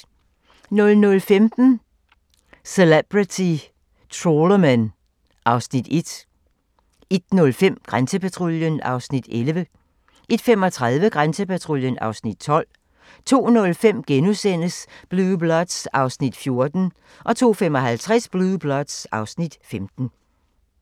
00:15: Celebrity Trawlermen (Afs. 1) 01:05: Grænsepatruljen (Afs. 11) 01:35: Grænsepatruljen (Afs. 12) 02:05: Blue Bloods (Afs. 14)* 02:55: Blue Bloods (Afs. 15)